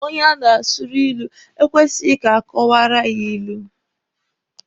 Onye a na-asụrụ ilu ekwesighi ka a kọwaara ya ilu.